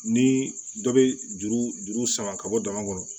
Ni dɔ bɛ juru juru sama ka bɔ dama kɔnɔ